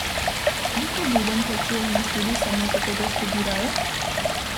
Koliko ljudem plačujemo študij samo zato, da študirajo?